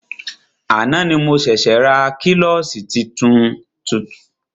Àná ni mo ṣẹ̀ṣė ra klọ́ṣí tuntun.